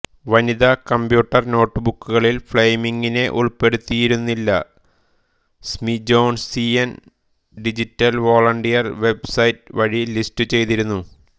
വനിതാ കമ്പ്യൂട്ടർ നോട്ട്ബുക്കുകളിൽ ഫ്ലെമിംങിനെ ഉൾപ്പെടുത്തിയിരുന്നില്ല Smithsonian digital volunteer web site വഴി ലിസ്റ്റുചെയ്തിരുന്നു